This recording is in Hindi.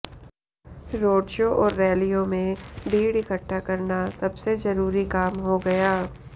रोड शो और रैलियों में भीड़ इकट्ठा करना सबसे जरूरी काम हो गया